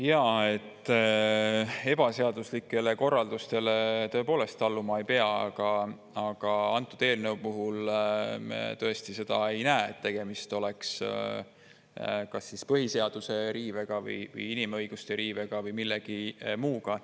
Jaa, ebaseaduslikele korraldustele tõepoolest alluma ei pea, aga antud eelnõu puhul me tõesti ei näe, et tegemist oleks kas põhiseaduse riivega, inimõiguste riivega või millegi muu sellisega.